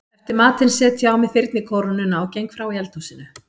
Eftir matinn set ég á mig þyrnikórónuna og geng frá í eldhúsinu.